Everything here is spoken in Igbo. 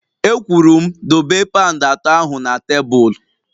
E kwuru m dobe paund atọ ahụ na tebụl!